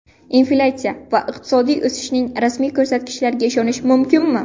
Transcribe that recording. Inflyatsiya va iqtisodiy o‘sishning rasmiy ko‘rsatkichlariga ishonish mumkinmi?.